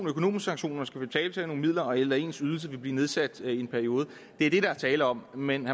økonomisk sanktion og skal betale nogle midler tilbage eller at ens ydelse vil blive nedsat i en periode det er det der er tale om men